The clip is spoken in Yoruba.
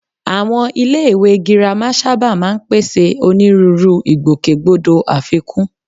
Àwọn iléèwé girama sábà máa ń pèsè onírúurú ìgbòkègbodò àfikún